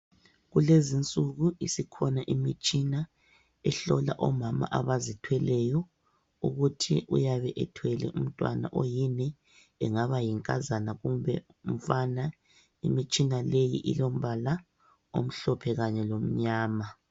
Kulezinsuku isikhona imitshina ehlola omama abazithweleyo ukuthi uyabe ethwele umntwana oyini, engaba yinkazana kumbe umfana. Imitshina leyi ilombala omhlophe kanye lomnyama.